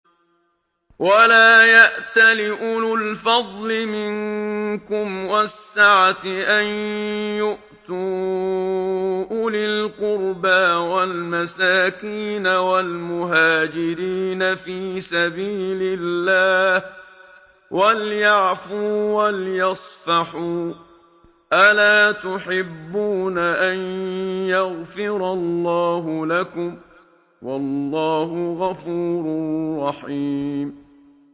وَلَا يَأْتَلِ أُولُو الْفَضْلِ مِنكُمْ وَالسَّعَةِ أَن يُؤْتُوا أُولِي الْقُرْبَىٰ وَالْمَسَاكِينَ وَالْمُهَاجِرِينَ فِي سَبِيلِ اللَّهِ ۖ وَلْيَعْفُوا وَلْيَصْفَحُوا ۗ أَلَا تُحِبُّونَ أَن يَغْفِرَ اللَّهُ لَكُمْ ۗ وَاللَّهُ غَفُورٌ رَّحِيمٌ